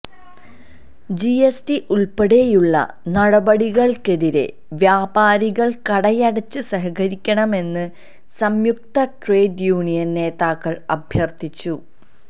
G S T ഉള്പ്പെടെയുള്ള നടപടികള്ക്കെതിരെ വ്യാപാരികള് കടയടച്ച് സഹകരിക്കണമെന്ന് സംയുക്ത ട്രേഡ് യൂനിയന് നേതാക്കള് അഭ്യര്ത്ഥിച്ചു